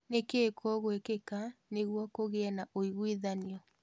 Nikii kũgwikika nigũo kũgia na ũigwithanio?